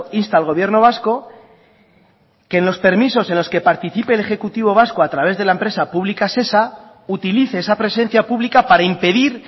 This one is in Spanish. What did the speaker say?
insta al gobierno vasco que en los permisos en los que participe el ejecutivo vasco a través de la empresa pública shesa utilice esa presencia pública para impedir